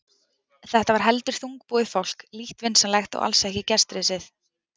Þetta var heldur þungbúið fólk, lítt vinsamlegt og alls ekki gestrisið.